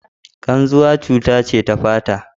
Ƙarzuwa cuta ce ta fata.